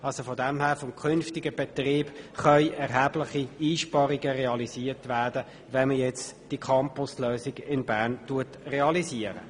Insofern können mit der Realisierung der Campus-Lösung in Bern durch den künftigen Betrieb erhebliche Einsparungen erreicht werden.